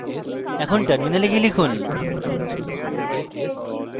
এখন terminal গিয়ে লিখুন